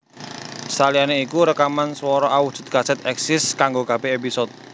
Saliyané iku rekaman swara awujud kasèt èksis kanggo kabèh épisode